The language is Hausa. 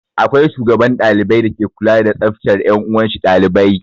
Akwai shugaban dalibai dake kula da tsaftar 'yan uwanshi ɗalibai.